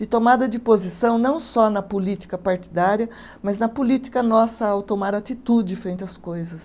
de tomada de posição não só na política partidária, mas na política nossa ao tomar atitude frente às coisas.